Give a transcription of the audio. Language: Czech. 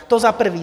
To za prvé.